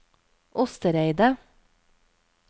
Ostereidet